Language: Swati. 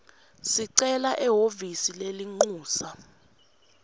sicelo ehhovisi lelincusa